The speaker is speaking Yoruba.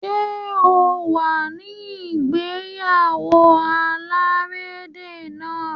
Ṣé o wà ní ìgéyáwó alárédè náà?